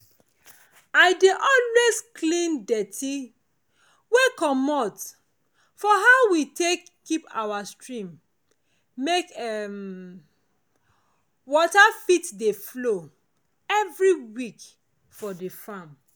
i dey always clean dirty wey comot for how we take keep our stream make um water fit dey flow every week for di farm